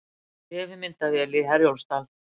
Vefmyndavél í Herjólfsdal